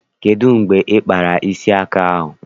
Kedụ mgbe ị kpara isi aka ahụ?